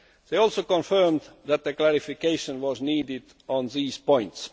They also confirmed that a clarification was needed on these points.